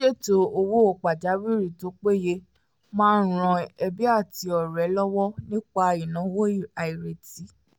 ṣíṣètò owó pàjáwìrì tó péye máa ń ran ẹbí àti ọ̀rẹ́ lọ́wọ́ nígbà ìnáwó àìrètí